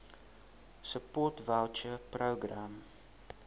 support voucher programme